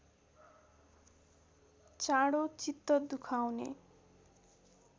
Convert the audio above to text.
चाँडो चित्त दुखाउने